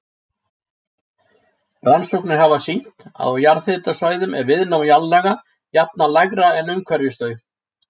Rannsóknir hafa sýnt að á jarðhitasvæðum er viðnám jarðlaga jafnan lægra en umhverfis þau.